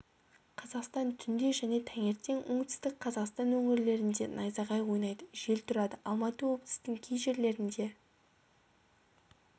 қазақстан түнде және таңертең оңтүстік қазақстан өңірлерінде найзағай ойнайды жел тұрады алматы облысының кей жерлерінде